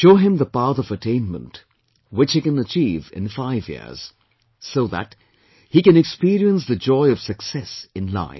Show him the path of attainment, which he can achieve in five years so that he can experience the joy of success in life